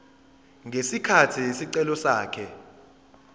ngesikhathi isicelo sakhe